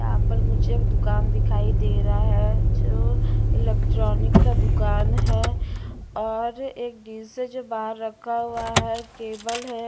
यहाँ पर मुझे एक दुकान दिखाई दे रहा है जो इलेक्ट्रॉनिक का दुकान है और एक है जो बाहर रखा हुआ है केबल है।